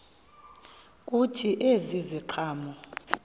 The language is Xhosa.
kuthi ezi ziqhamo